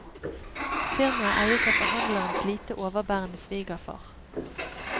Firmaet eies av forhandlerens lite overbærende svigerfar.